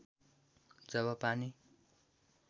जब पानी